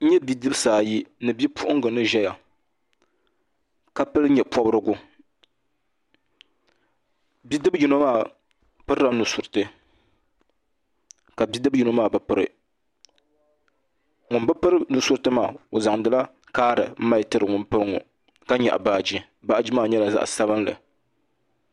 N nyɛ bidibisi ayi ni bipuɣinga ni ʒeya ka pili nye' pɔbirigu bidib' yino maa pirila nu'suriti ka bidib' yino maa bi piri ŋun bi piri nu' suriti maa o zaŋdi la kaari m-mali tiri ŋun piri ŋɔ ka nyaɣi baaji baaji maa nyɛla zaɣ' sabinli